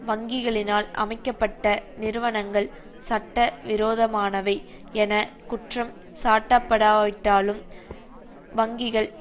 வங்கிகளினால் அமைக்க பட்ட நிறுவனங்கள் சட்ட விரோதமானவை என குற்றம் சாட்டப்படாவிட்டாலும் வங்கிகள்